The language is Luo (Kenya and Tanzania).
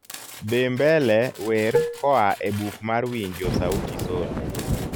dhi mbele wer koa e buk mar winjo sauti sol